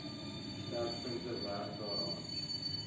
sterkpunte werk daaraan